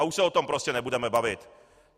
A už se o tom prostě nebudeme bavit.